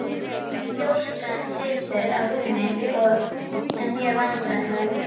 Ljóskan situr á rúmi og er mjög vandræðaleg.